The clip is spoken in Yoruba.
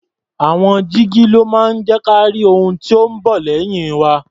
Àwọn jígí ló máa ń jẹ́ ka rí ohun tó ń bọ̀ lẹ́yìn wa.